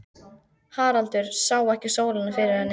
Haraldur sá ekki sólina fyrir henni.